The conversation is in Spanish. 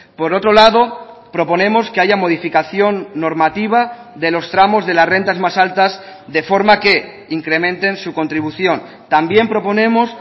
por otro lado proponemos que haya modificación normativa de los tramos de las rentas más altas de forma que incrementen su contribución también proponemos